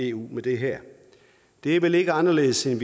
eu med det her det er vel ikke anderledes end